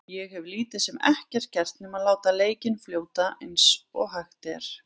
Ég hef lítið sem ekkert gert nema að láta leikinn fljóta eins og hægt er.